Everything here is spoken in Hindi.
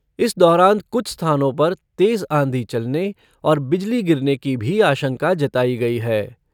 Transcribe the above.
इस दौरान कुछ स्थानों पर तेज आँधी चलने और बिजली गिरने की भी आशंका जताई गई है।